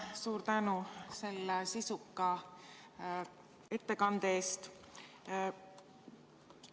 Suur tänu sisuka ettekande eest!